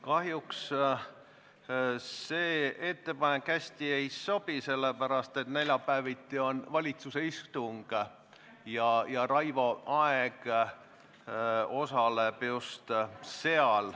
Kahjuks see ettepanek hästi ei sobi, sellepärast et neljapäeviti on valitsuse istung ja Raivo Aeg peab seal osalema.